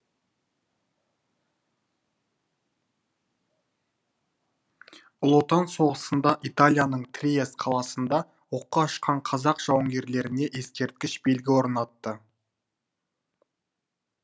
ұлы отан соғысында италияның триест қаласында оққа ұшқан қазақ жауынгерлеріне ескерткіш белгі орнатты